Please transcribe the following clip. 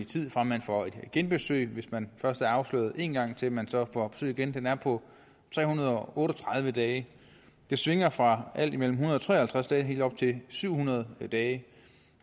tid fra man får et genbesøg hvis man først er afsløret én gang til man så får besøg igen er på tre hundrede og otte og tredive dage det svinger fra alt imellem en hundrede og tre og halvtreds dage helt op til syv hundrede dage